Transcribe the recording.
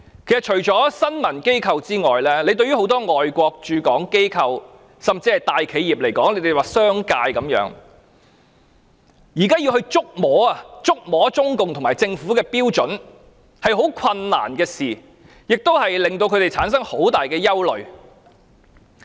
其實，除了新聞機構外，很多外國駐港機構，甚至大企業或商界，現在要捉摸中共和政府的標準是很困難的事，他們產生了很大憂慮。